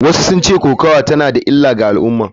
Wasu sun ce kokawa tana da illa ga al’umma.